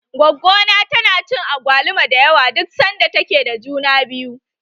Goggo na tana cin agwaluma da yawa duk sanda ta ke da juna biyu.